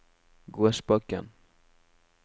Gåsbakken